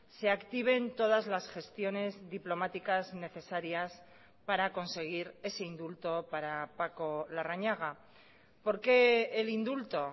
se activen todas las gestiones diplomáticas necesarias para conseguir ese indulto para paco larrañaga por qué el indulto